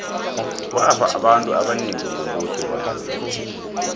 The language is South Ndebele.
kwafa abantu abanengi ngombuso webandlululo